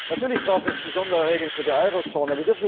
Natürlich braucht es besondere Regeln für die Eurozone.